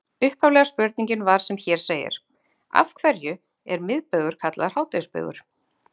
Upphaflega spurningin var sem hér segir: Af hverju er miðbaugur kallaður hádegisbaugur?